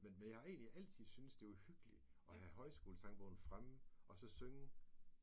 Men men jeg har egentlig altid syntes det var hyggeligt at have højskolesangbogen fremme og så synge